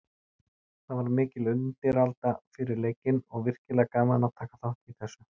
Það var mikil undiralda fyrir leikinn og virkilega gaman að taka þátt í þessu.